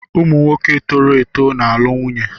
Ụmụ nwoke toro eto na-alụ nwunye